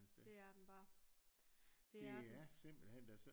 Det er den bare det er den